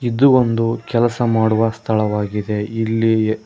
ಇದು ಒಂದು ಕೆಲಸ ಮಾಡುವ ಸ್ಥಳವಾಗಿದೆ ಇಲ್ಲಿ--.